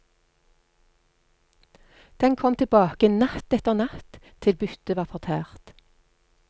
Den kom tilbake natt etter natt til byttet var fortært.